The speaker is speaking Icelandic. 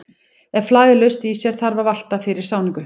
Ef flag er laust í sér þarf að valta fyrir sáningu.